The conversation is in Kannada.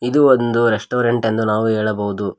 ಇದು ಒಂದು ರೆಸ್ಟೋರೆಂಟ್ ಎಂದು ನಾವು ಹೇಳಬಹುದು.